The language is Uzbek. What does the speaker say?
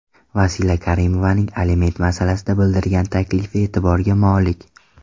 Vasila Karimovaning aliment masalasida bildirgan taklifi e’tiborga molik.